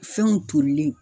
Fɛnw tolilen.